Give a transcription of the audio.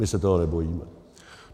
My se toho nebojíme.